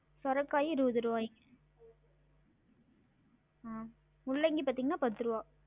சொரக்காய் இருவது ருவாய்ங்க உம் முள்ளங்கி பாத்தீங்கன்னா பத்து ருவா